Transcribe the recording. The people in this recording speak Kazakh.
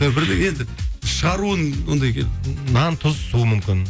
бірдеңе енді шығаруын ондай нан су тұз мүмкін